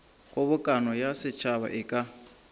kgobokano ya setšhaba e ka